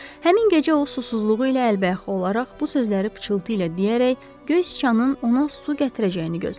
Həmin gecə o susuzluğu ilə əlbəyaxa olaraq bu sözləri pıçıltı ilə deyərək göy siçanın ona su gətirəcəyini gözlədi.